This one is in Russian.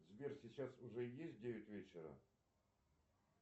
сбер сейчас уже есть девять вечера